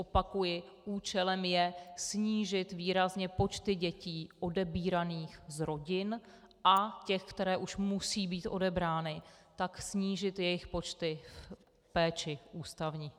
Opakuji, účelem je snížit výrazně počty dětí odebíraných z rodin a těch, které už musí být odebrány, tak snížit jejich počty v péči ústavní.